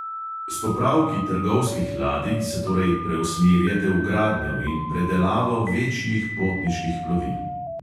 S popravki trgovskih ladij se torej preusmerjate v gradnjo in predelavo večjih potniških plovil.